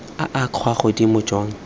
a a kwa godimo jwa